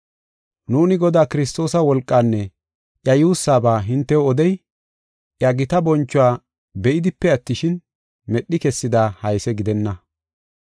Nuuni Godaa Kiristoosa wolqaanne iya yuussaba hintew odey, iya gita bonchuwa be7idipe attishin, medhi kessida hayse gidenna.